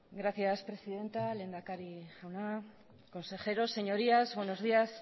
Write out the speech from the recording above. gracias presidenta lehendakari jauna consejeros señorías buenos días